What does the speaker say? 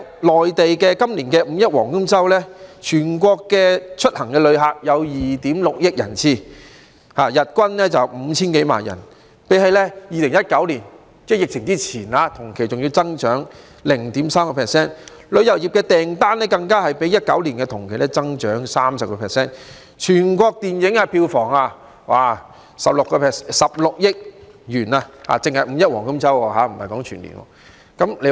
內地今年的"五一黃金周"，全國的出行旅客有2億 6,000 萬人次，日均 5,000 多萬人，較2019年疫情之前同期還要增長 0.3%； 旅遊業訂單更較2019年同期增長 30%； 全國的電影票房16億元，說的只是"五一黃金周"而不是全年的收入。